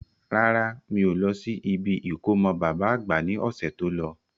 Rárá, mi ò lọ sí ibi ìkómọ baba àgbà ní ọ̀sẹ̀ tó lọ.